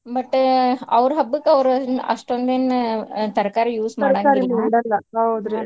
But ಅವ್ರ್ ಹಬ್ಬಕ್ಕ್ ಅವ್ರ್ ಅಷ್ಟೊಂದೇನ್ ತರಕಾರಿ use .